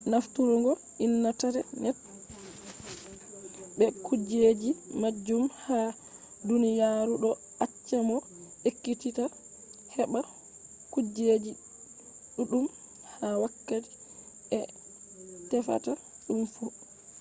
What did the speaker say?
nafturgo intanet be kujeji majum ha duniyaru ɗo acca mo ekkititta heɓɓa kujeji ɗuɗɗum ha wakkati a tefata ɗum fu